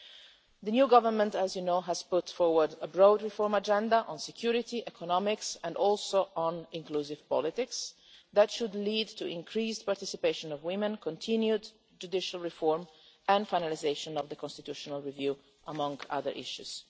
As you know, the new Government has put forward a broad reform agenda on security, economics and inclusive politics that should lead to the increased participation of women, continued judicial reform and finalisation of the constitutional review, among other issues.